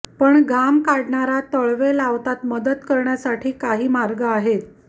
पण घाम काढणारा तळवे लावतात मदत करण्यासाठी काही मार्ग आहेत